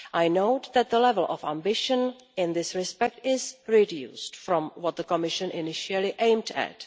I note that the level of ambition in this respect has been reduced from what the Commission initially aimed at.